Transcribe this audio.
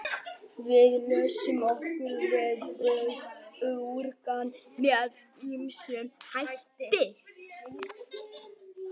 Við losum okkur við úrgang með ýmsum hætti.